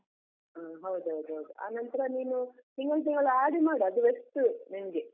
ಹ್ಮ್ ಹೌದೌದ್ ಹೌದು, ಆನಂತ್ರ ನೀನು ತಿಂಗಳ್ ತಿಂಗಳು RD ಮಾಡು ಅದು best ನಿನ್ಗೆ.